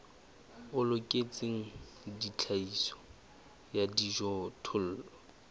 o loketseng tlhahiso ya dijothollo